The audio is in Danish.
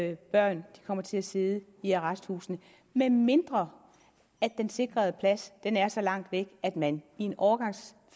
at børn kommer til at sidde i arresthusene medmindre at den sikrede plads er så langt væk at man i en overgangsfase